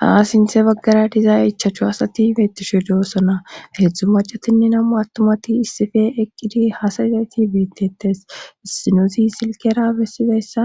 haa sinthe baggara diza ichaachu asati beettishu de'osona hedzdzu macatinne namu attumati issife eqqidi hasayizayti biittettes issinezi silkera bessi izayssa